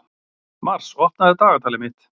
Mars, opnaðu dagatalið mitt.